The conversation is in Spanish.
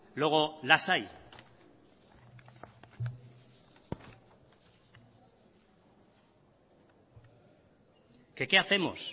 luego las hay que qué hacemos